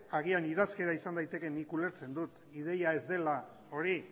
agian idazkera izan daiteke nik ulertzen dut ideia ez dela hori